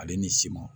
Ale ni siman